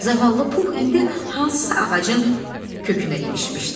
Zavallı Pux indi hansısa ağacın kökünə ilişmişdi.